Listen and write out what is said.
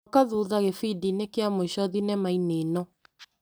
Coka thutha gĩbindi-inĩ kĩa mũico thinema-inĩ ĩno .